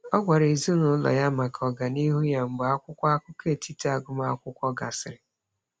Ọ gwara ezinaụlọ ya maka ọganihu ya mgbe akwụkwọ akụkọ etiti agụmakwụkwọ gasịrị.